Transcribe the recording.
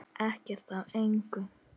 Ekkert af engu.